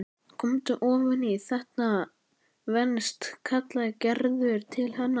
Komdu ofan í, þetta venst kallaði Gerður til hennar.